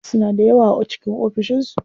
Wasu suna da yawa a cikin ofishin su.